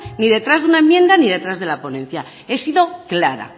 ni detrás de una enmienda ni detrás de la ponencia he sido clara